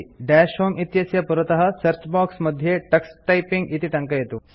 दश होमे इत्यस्य पुरतः सर्च बॉक्स मध्ये टक्स टाइपिंग इति टङ्कयतु